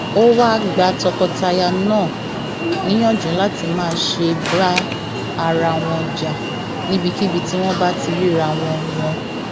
ó ní onígbéraga onímọ tara ẹni nìkan ìkà onínàkunàá àti ẹni tí kì í ro ti ọmọnìkejì ní àrègbéṣọlá